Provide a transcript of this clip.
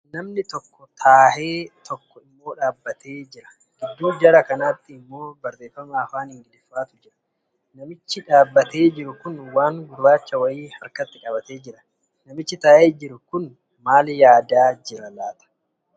Namni tokko taahee tokko immoo dhaabbatee jira gidduu jara kanaatti immoo barreeffama afaan ingiliffaatu jira. Namichi dhaabatee jiru kun waan gurraacha wayii harkatti qabattee jira. Namichi taa'ee jiru Kun maal yaadaa jira?